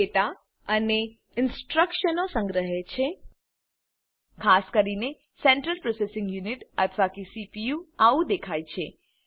data અને ઇનસ્ટ્રકશનો સંગ્રહે છે ખાસ કરીને સેન્ટ્રલ પ્રોસેસિંગ યૂનિટ અથવા કે સીપીયુ આવું દેખાય છે